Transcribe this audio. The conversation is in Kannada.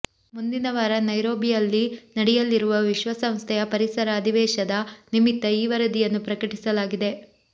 ಮುಂದಿನ ವಾರ ನೈರೋಬಿಯಲ್ಲಿ ನಡೆಯಲಿರುವ ವಿಶ್ವಸಂಸ್ಥೆಯ ಪರಿಸರ ಅಧಿವೇಶದ ನಿಮಿತ್ತ ಈ ವರದಿಯನ್ನು ಪ್ರಕಟಿಸಲಾಗಿದೆ